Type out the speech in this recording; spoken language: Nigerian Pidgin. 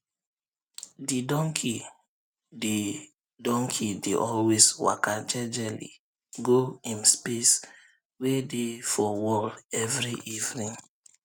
de donkey dey donkey dey always waka jejely um go um im um space wey dey for wall every evening